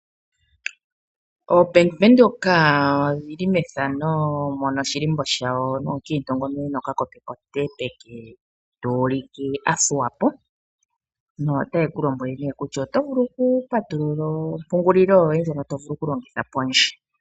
O Bank Windhoek oyili methano mono oshilimbo shawo nomukiintu ngono ena okakopi kotee peke tuulike athuwapo notaye ku lombwele nee kutya oto vulu oku patulula ompungulilo yoye ndjono to vulu oku longitha pondje.